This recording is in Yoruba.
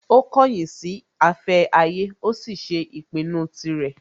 Ó kọ̀yìn sí afẹ́ ayé, ó sì ṣe ìpinnu tirẹ̀